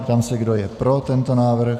Ptám se, kdo je pro tento návrh.